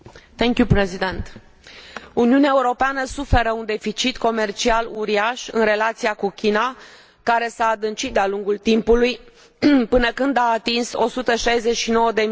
Uniunea Europeană suferă de un deficit comercial uriaș în relația cu China, care s a adâncit de a lungul timpului, până când a atins 169 de miliarde de euro în anul